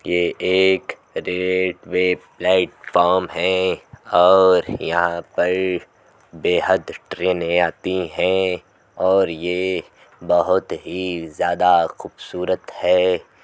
यह एक railway platform है और यहाँ पर बेहद ट्रेने आती हैं और ये बोहोत ही ज्यादा खुबसूरत है।